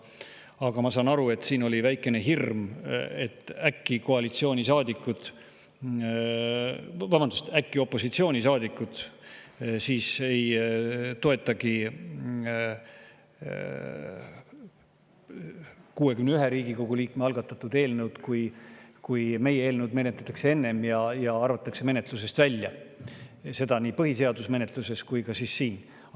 Aga ma saan aru, et siin oli väikene hirm, et äkki opositsioonisaadikud ei toetagi 61 Riigikogu liikme algatatud eelnõu siis, kui meie eelnõu menetletakse enne ja see arvatakse menetlusest välja, seda nii põhiseaduse menetluses kui ka siin.